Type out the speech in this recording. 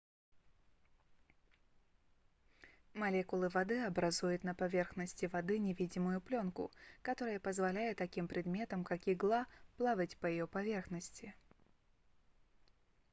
молекулы воды образуют на поверхности воды невидимую плёнку которая позволяет таким предметам как игла плавать по ее поверхности